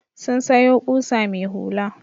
Sun sayo ƙusa mai hula.